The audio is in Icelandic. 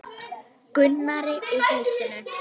Gunnari og húsinu.